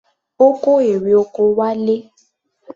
Ó kó erè oko wálé.